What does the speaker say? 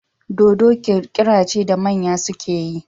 Dodo kirkira ce da manya suke yi